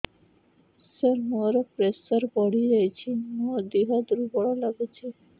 ସାର ମୋର ପ୍ରେସର ବଢ଼ିଯାଇଛି ମୋ ଦିହ ଦୁର୍ବଳ ଲାଗୁଚି